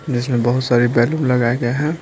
जिसमें बहुत सारी बैलून लगाए गए हैं।